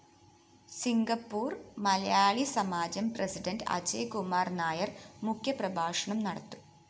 Singapore‍ മലയാളിസമാജം president Ajayakumar‍ Nair‍ മുഖ്യപ്രഭാഷണം നടത്തും